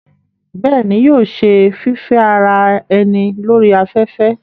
bẹ́ẹ̀ni, yóò ṣe fífẹ́ ara ẹni lórí afẹ́fẹ́